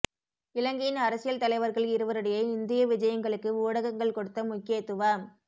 இலங்கையின் அரசியல் தலைவர்கள் இருவருடைய இந்தியவிஜயங்களுக்கு ஊடகங்கள் கொடுத்த முக்கியத்துவம்